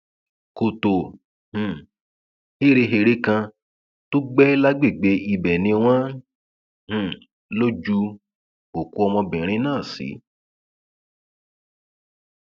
kọtò um héréhère kan tó gbé lágbègbè ibẹ ni wọn um lò ju òkú ọmọbìnrin náà sí